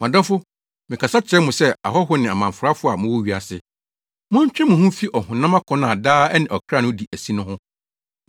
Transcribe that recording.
Mʼadɔfo, mekasa kyerɛ mo sɛ ahɔho ne amamfrafo a mowɔ wiase. Montwe mo ho mfi ɔhonam akɔnnɔ a daa ɛne ɔkra no di asi no ho.